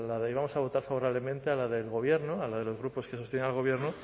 íbamos a votar favorablemente a la del gobierno a la de los grupos que sostienen al gobierno